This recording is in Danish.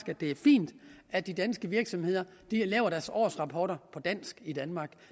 at det er fint at de danske virksomheder laver deres årsrapporter på dansk i danmark